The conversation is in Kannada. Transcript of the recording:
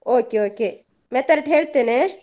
Okay okay method ಹೇಳ್ತೇನೆ?